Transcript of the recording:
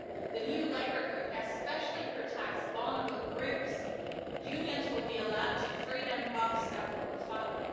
The new Labour Code especially protects vulnerable groups. Unions will be allowed and freedom of assembly will follow.